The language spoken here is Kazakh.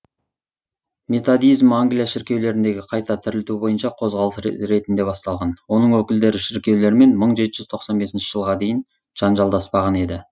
методизм англия шіркеулеріндегі қайта тірілту бойынша қозғалыс ретінде басталған оның өкілдері шіркеулермен мың жеті жүз тоқсан бесінші жылға дейін жанжалдаспаған еді